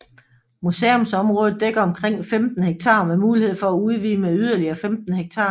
Museumsområdet dækker omkring 15 hektar med mulighed for at udvide med yderligere 15 hektar